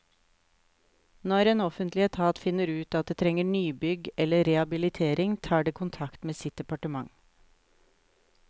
Når en offentlig etat finner ut at det trenger nybygg eller rehabilitering, tar det kontakt med sitt departement.